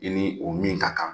I ni o min ka kan.